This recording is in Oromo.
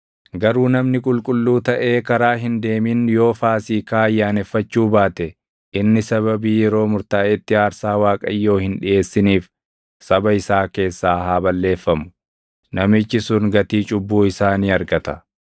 Garuu namni qulqulluu taʼee karaa hin deemin yoo Faasiikaa ayyaaneffachuu baate inni sababii yeroo murtaaʼetti aarsaa Waaqayyoo hin dhiʼeessiniif saba isaa keessaa haa balleeffamu. Namichi sun gatii cubbuu isaa ni argata.